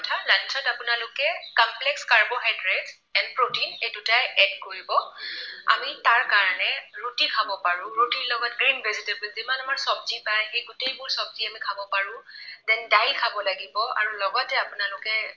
And protein এই দুটাই add কৰিব। আমি তাৰ কাৰণে ৰুটি খাব পাৰো। ৰুটিৰ লগত green vegetable যিমান আমাৰ চবজি পায় সেই গোটেইবোৰ চবজি আমি খাব পাৰো। then দাইল খাব লাগিব আৰু লগতে আপোনালোকে